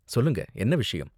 சொல்லுங்க, என்ன விஷயம்?